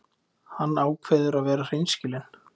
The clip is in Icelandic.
Hann ákveður að vera hreinskilinn.